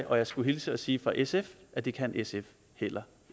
og jeg skulle hilse og sige fra sf at det kan sf heller